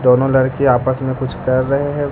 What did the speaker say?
दोनों लड़के आपस में कुछ कर रहे हैं।